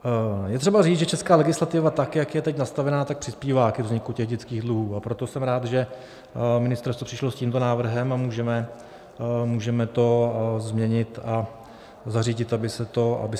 Je třeba říct, že česká legislativa, tak jak je teď nastavena, tak přispívá ke vzniku těch dětských dluhů, a proto jsem rád, že ministerstvo přišlo s tímto návrhem a můžeme to změnit a zařídit, aby se to nedělo.